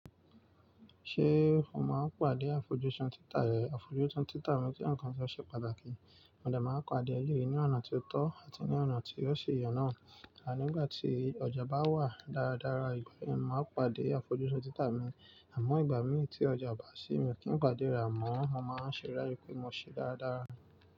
Ṣé o máa ń pàdé àfojúsùn títà rẹ? Àfojúsùn títà mi jẹ́ ǹkan tí ó ṣe pàtàkì, mo de máa ń pàdé eleyii ni ọ̀nà tí ó tọ́ àti ní ọ̀nà tí o ṣi ye náà. Ani igbà tí ọjà bá wà dáradára, ìgbà yẹn mo màá n pàdé àfojúsùn títà mi. Àmọ́ ìgbà míi tí ọjà o bá sì mí o kín pàdé re, amọ́, mo máa ń ṣeré pé mo ṣe dáradára.